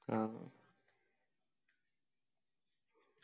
ആ